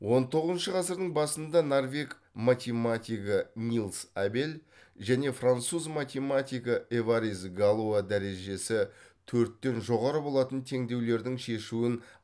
он тоғызыншы ғасырдың басында норвег математигі нильс абель және француз математигі эварист галуа дәрежесі төрттен жоғары болатын теңдеулердің шешуін